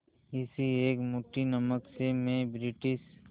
इस एक मुट्ठी नमक से मैं ब्रिटिश